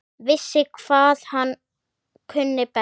Vissi hvað hann kunni best.